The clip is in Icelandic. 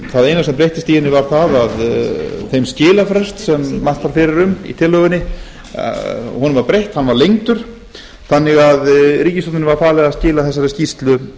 það eina sem breyttist í henni var það að þeim skilafresti sem mælt var fyrir um í tillögunni var breytt hann var lengdur þannig að ríkisstjórninni var falið að skila þessari skýrslu